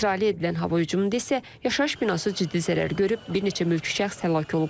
İsrailə edilən hava hücumunda isə yaşayış binası ciddi zərər görüb, bir neçə mülki şəxs həlak olub.